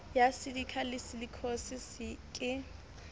ya silikha le silikhosis ke